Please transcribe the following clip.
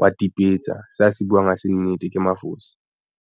wa timetsa se a se buwang ha se nnete ke mafosi.